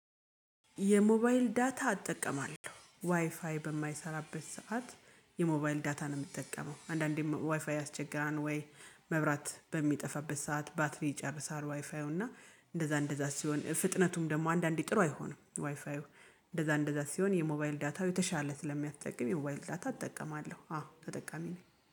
የሞባይል ዳታ እጠቀማለሁ ዋይፋይ በማይሰራበት ሰዓት። የሞባይል ዳታ ነው የምትጠቀመው አንዳንዴም ዋይፋይ ያስቸግራል? ወይ መብራት በሚጠፋበት ሰዓት ባትሪ ይጨርሳል ዋይፋዩ እና እንደዛ እንደዛ ሲሆን ፍጥነቱም ደግሞ አንዳንዴ ጥሩ አይሆንም። ዋይፋዩ እንደዛ እንደዛ ሲሆን የሞባይል ዳታው የተሻለ ስለሚያጠቅም የሞባይል ዳታ እጠቀማለሁ። አዎ ተጠቃሚ ነኝ